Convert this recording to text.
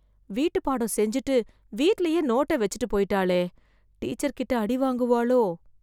வீட்டுப் பாடம் செஞ்சுட்டு, வீட்லயே நோட்டை வெச்சுட்டு போய்ட்டாளே... டீச்சர் கிட்ட அடி வாங்குவாளோ..